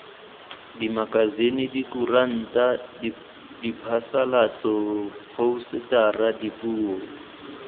dimakasine dikuranta diphasalatso phousetara dipuo